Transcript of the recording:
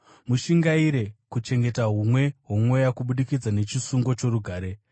Mushingaire kuchengeta humwe hwoMweya kubudikidza nechisungo chorugare.